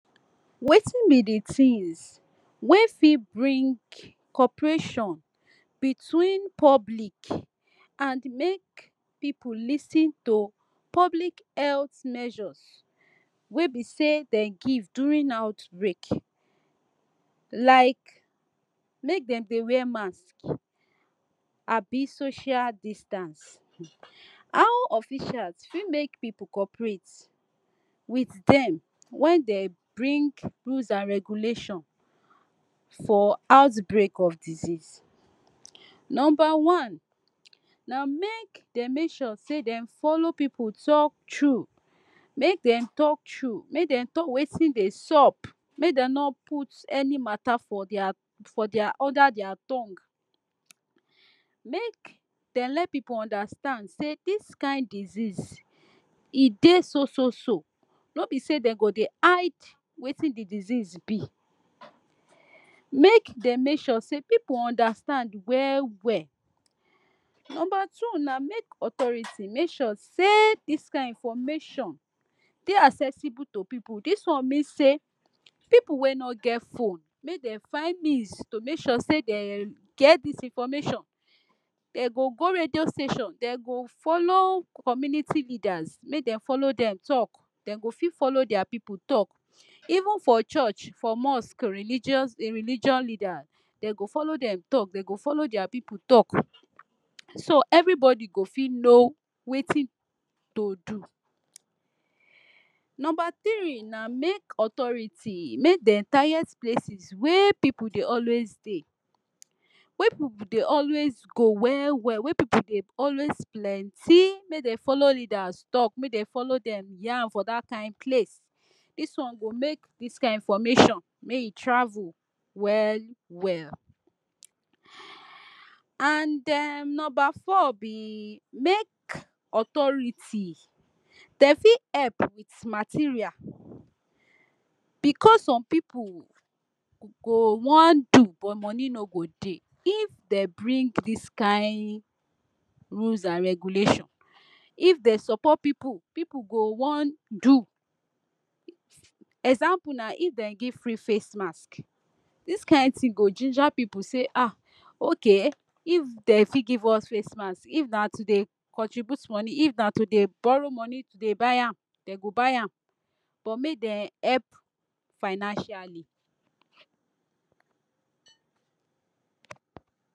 Watin be di tins wey fit bring corporation between public and make pipu lis ten to public health measures wey be say dem give during outbreak like make dem dey wear mask abi social distance. How officials fit make pipu corporate wit dem wen dem bring rules and regulation for outbreak of disease, number one na make dem make sure say dem follow pipu talk true make dem talk true make dem talk watin dey sup make dem no put any mata for dia for dia under dia tongue make dem let pipu understand say dis kain disease e dey so so so no be say de go dey hide watin di disease be make dey make sure say pipu understand well well. Number two na make authority make sure dis kain information dey accessible to pipu dis one mean say pipu wey no get phone make dem find means to make sure sey dem get dis information, dem go go radio station dem go follow community leaders make dem follow dem talk dem go fit follow dia pipu talk, even for church, for mosque, religious religion leader dem go follow dem talk dem go follow dia pipu talk so everybody go fit know watin to do. Number tiree na make authority make dem target places wey pipu dey always dey, wey pipu dey always go well well wey pipu dey always plenty make dem follow leaders talk make dem follow dem yan for dat kain place dis one go make dis kain information make e travel well well and um number four be make authority dem fit help wit material because some pipu go wan do but moni no go dey if dem bring dis kain rules and regulation, if de support pipu pipu go wan do example na if dey give free face mask dis kain tin go ginger pipu say ah okay if dem fit give us face mask if na to dey contribute money if na to dey borrow money to dey buy am dem go buy am but make dem help financially